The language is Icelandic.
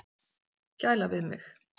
Gæla við mig.